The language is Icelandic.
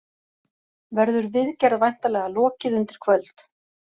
Verður viðgerð væntanlega lokið undir kvöld